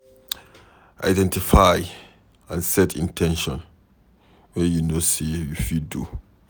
Identify and set in ten tions wey you know sey you fit do